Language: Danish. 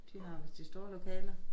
De har vist de store lokaler